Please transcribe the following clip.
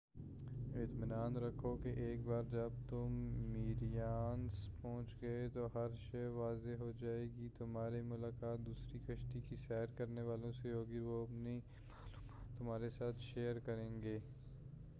اطمینان رکھو کہ ایک بار جب تم میریناس پہنچ گئے تو ہر شے واضح ہو جائے گی تُمہاری ملاقات دوسرے کشتی کی سیر کرنے والوں سے ہوگی اور وہ اپنی معلومات تمہارے ساتھ شیئر کریں گے